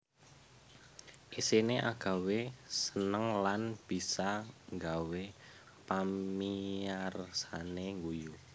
Isiné agawé seneng lan bisa nggawé pamiyarsané ngguyu